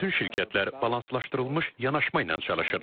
Bütün şirkətlər balanslaşdırılmış yanaşma ilə çalışırlar.